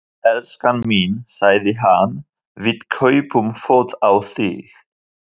elskan mín, sagði hann, við kaupum föt á þig.